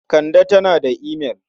Kande tana da imail.